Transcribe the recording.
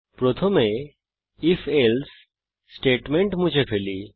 প্রথমে if else statement মুছে ফেলি